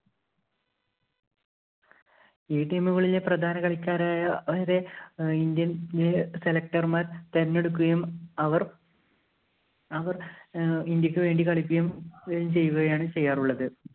ഈ team ഉകളിലെ പ്രധാന കളിക്കാരായവരെ ഇന്ത്യയിലെ select ര്‍മാര്‍ തെരഞ്ഞെടുക്കുകയും അവര്‍ അവര്‍ അവർ ഏർ ഇന്ത്യക്ക് വേണ്ടി കളിക്കുകയും ചെയ്യുകയാണ് ചെയ്യാറുള്ളത്.